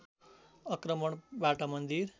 आक्रमणबाट मन्दिर